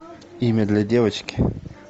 имя для девочки